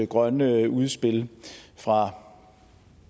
grønne udspil fra